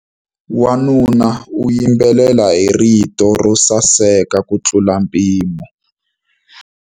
Wanuna u yimbelela hi rito ro saseka kutlula mpimo.